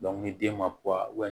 ni den ma